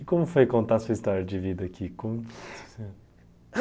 E como foi contar a sua história de vida aqui?